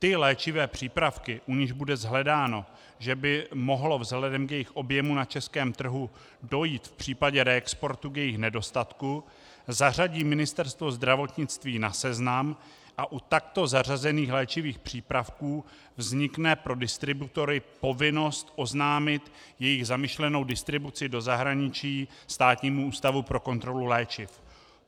Ty léčivé přípravky, u nichž bude shledáno, že by mohlo vzhledem k jejich objemu na českém trhu dojít v případě reexportu k jejich nedostatku, zařadí Ministerstvo zdravotnictví na seznam a u takto zařazených léčivých přípravků vznikne pro distributory povinnost oznámit jejich zamýšlenou distribuci do zahraničí Státnímu ústavu pro kontrolu léčiv.